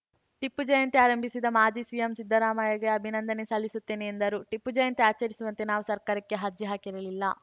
ಟಿಪ್ಪು ಜಯಂತಿ ಆರಂಭಿಸಿದ ಮಾಜಿ ಸಿಎಂ ಸಿದ್ದರಾಮಯ್ಯಗೆ ಅಭಿನಂದನೆ ಸಲ್ಲಿಸುತ್ತೇನೆ ಎಂದರು ಟಿಪ್ಪು ಜಯಂತಿ ಆಚರಿಸುವಂತೆ ನಾವು ಸರ್ಕಾರಕ್ಕೆ ಹರ್ಜಿ ಹಾಕಿರಲಿಲ್ಲ